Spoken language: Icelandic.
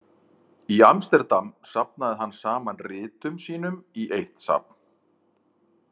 Í Amsterdam safnaði hann saman ritum sínum í eitt safn.